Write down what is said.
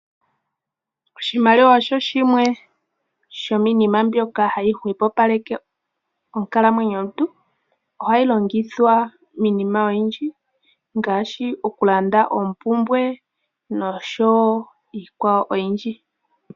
Oshimaliwa osho shimwe shominima mbyoka hayi hwepopaleka onkalamwenyo yomuntu, ohayi longithwa miinima oyindji ngaashi okulanda oompumbwe nosho wo iikwawo oyindji.